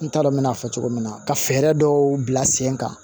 N t'a dɔn n bɛn'a fɔ cogo min na ka fɛɛrɛ dɔw bila sen kan